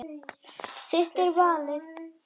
Þitt er valið.